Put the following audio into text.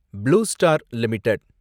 blue star limited